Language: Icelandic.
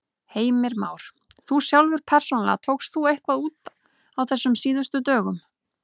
Heimir Már: Þú sjálfur persónulega, tókst þú eitthvað út á þessum síðustu dögum?